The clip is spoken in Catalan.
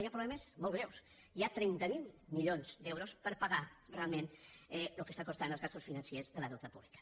hi ha problemes molt greus hi ha trenta miler milions d’euros per pagar realment el que estan costant les despeses financeres del deute públic